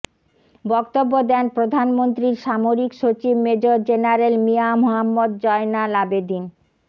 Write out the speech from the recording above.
বক্তব্য দেন প্রধানমন্ত্রীর সামরিক সচিব মেজর জেনারেল মিয়া মোহাম্মদ জয়নাল আবেদীন